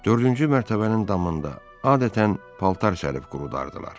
Dördüncü mərtəbənin damında adətən paltar şərifi qurudardılar.